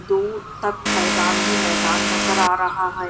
दू तक मैदान ही मैदान नजर आ रहा हैं।